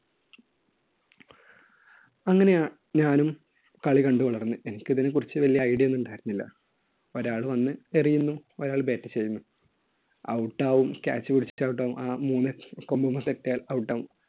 അങ്ങനെയാ~ ഞാനും കളി കണ്ടുവളർന്നു. എനിക്ക് ഇതിനെക്കുറിച്ച് വലിയ idea ഒന്നും ഉണ്ടായിരുന്നില്ല. ഒരാൾ വന്ന് എറിയുന്നു, ഒരാൾ bat ചെയ്യുന്നു. out ആകും, catch പിടിച്ചിട്ട് out ആകും, ആ മൂന്ന് കമ്പിൻമേൽ തട്ടിയാൽ out ആകും.